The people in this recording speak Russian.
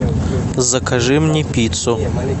закажи мне пиццу